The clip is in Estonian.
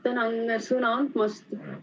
Tänan sõna andmast!